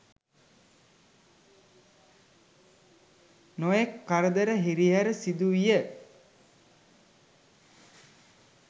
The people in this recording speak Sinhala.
නොයෙක් කරදර හිරිහැර සිදුවිය.